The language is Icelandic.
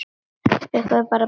Bukkuðu sig bara og beygðu!